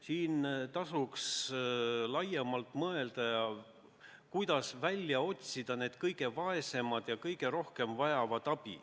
Siin tasuks laiemalt mõelda, kuidas välja selgitada need kõige vaesemad, kes kõige rohkem abi vajavad.